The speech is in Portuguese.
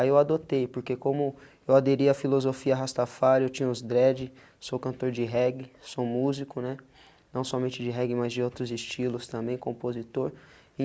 Aí eu adotei, porque como eu aderia a filosofia Rastafário, eu tinha os dreads, sou cantor de reggae, sou músico, né, não somente de reggae, mas de outros estilos também, compositor.